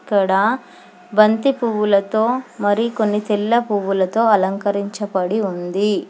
ఇక్కడ బంతి పువ్వులతో మరికొన్ని తెల్ల పువ్వులతో అలంకరించబడి ఉంది.